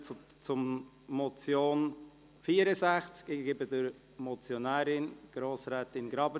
Gut, somit kommen wir zur Motion unter dem Traktandum 64.